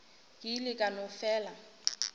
ke ile ka no fela